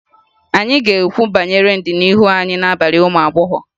Anyị ga-ekwu banyere ndụ ịhụnanya anyị n'abalị ụmụ agbọghọ